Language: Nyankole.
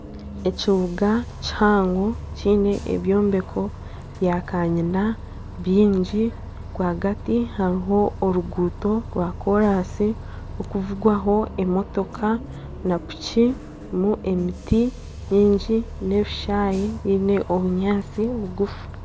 Ekibuga kihango kyine ebyombeko bya kanyina byingi rw'agati hariho oruguuto rwa koransi rukuvugwaho emotoka na piki harimu emiti miingi n'ebishayi byine obunyaantsi bugufu.